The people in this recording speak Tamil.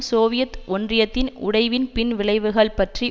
சோவியத் ஒன்றியத்தின் உடைவின் பின்விளைவுகள் பற்றி